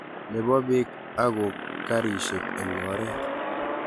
nebo biik ago karishek eng oret